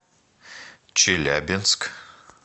челябинск